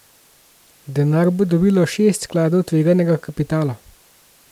Denar bo dobilo šest skladov tveganega kapitala.